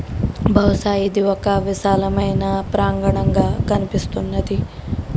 బహుశా ఇది ఒక విశాలమైన ప్రాంగణంగా కనిపిస్తున్నది .